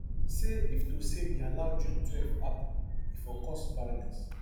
say if to say we allow june twelve happen e for cause violence